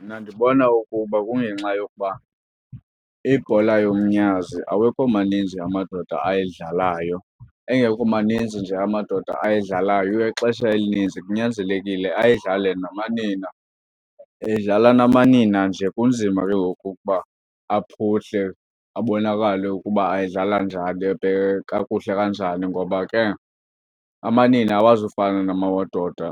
Mna ndibona ukuba kungenxa yokuba ibhola yomnyazi awekho maninzi amadoda ayidlalayo. Engekho maninzi nje amadoda ayidlalayo ixesha elininzi kunyanzelekile ayidlale namanina. Edlala namanina nje kunzima ke ngoku ukuba aphuhle abonakale ukuba ayidlala njani kakuhle kanjani ngoba ke amanina awazufana namadoda